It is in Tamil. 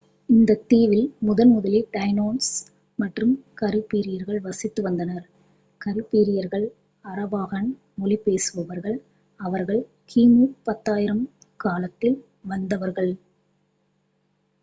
இந்த தீவில் முதன்முதலில் டைனோஸ் மற்றும் கரீபியர்கள் வசித்து வந்தனர் கரீபியர்கள் அராவாகன் மொழி பேசுபவர்கள் அவர்கள் கிமு 10,000 காலத்தில் வந்தவர்கள்